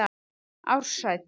Ársæll